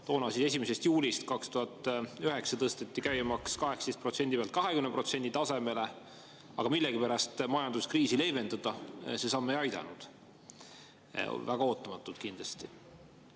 Toona tõsteti 1. juulist 2009 käibemaks 18% pealt 20% tasemele, aga millegipärast majanduskriisi see samm leevendada ei aidanud – väga ootamatult kindlasti.